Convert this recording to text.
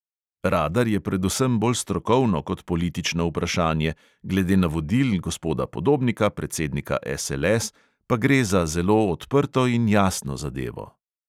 Radar je predvsem bolj strokovno kot politično vprašanje, glede navodil gospoda podobnika, predsednika SLS, pa gre za zelo odprto in jasno zadevo.